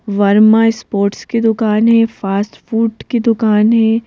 Verma sports की दुकान है फास्ट फूड की दुकान है।